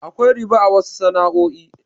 Akwai riba a wasu sana'o'i.